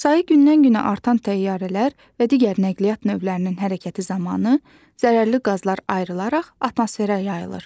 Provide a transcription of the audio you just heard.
Sayi gündən-günə artan təyyarələr və digər nəqliyyat növlərinin hərəkəti zamanı zərərli qazlar ayrılaraq atmosferə yayılır.